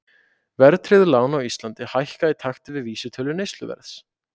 Verðtryggð lán á Íslandi hækka í takti við vísitölu neysluverðs.